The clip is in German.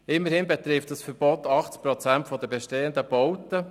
Immerhin betrifft dieses Verbot 80 Prozent der bestehenden Bauten.